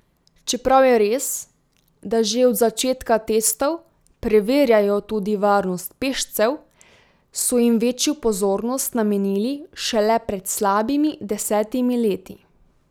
Čeprav je res, da že od začetka testov preverjajo tudi varnost pešcev, so jim večjo pozornost namenili šele pred slabimi desetimi leti.